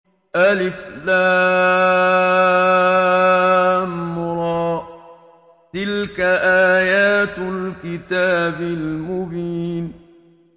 الر ۚ تِلْكَ آيَاتُ الْكِتَابِ الْمُبِينِ